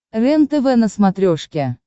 рентв на смотрешке